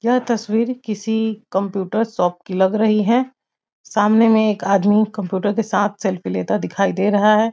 यह तस्वीर किसी कंप्यूटर शोप की लग रही है सामने में एक आदमी कंप्यूटर के साथ सेल्फी लेता दिखाई दे रहा है ।